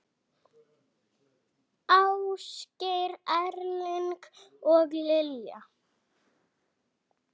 Ásgeir Erling og Lilja.